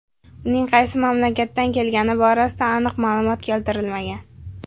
Uning qaysi mamlakatdan kelgani borasida aniq ma’lumot keltirilmagan.